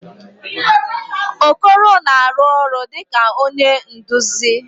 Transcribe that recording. Okoro na-arụ ọrụ dịka onye nduzi.